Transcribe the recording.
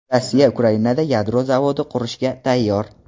Rossiya Ukrainada yadro zavodi qurishga tayyor.